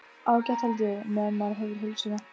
Ágætt held ég. meðan maður hefur heilsuna.